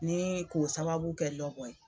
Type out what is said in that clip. Ni k'o sababu kɛ Lɔbɔ ye.